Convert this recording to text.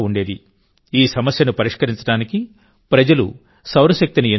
ఈ సమస్యను పరిష్కరించడానికి ప్రజలు సౌరశక్తిని ఎంచుకున్నారు